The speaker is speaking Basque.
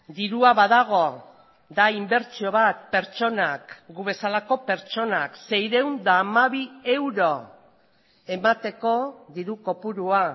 dirua badago da inbertsio bat pertsonak gu bezalako pertsonak seiehun eta hamabi euro emateko diru kopurua